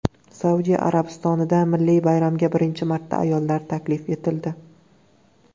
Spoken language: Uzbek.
Saudiya Arabistonida milliy bayramga birinchi marta ayollar taklif etildi.